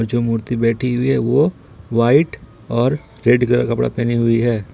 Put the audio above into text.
जो मूर्ति बैठी हुई है वो वाइट और रेड कलर कपड़ा पहनी हुई है।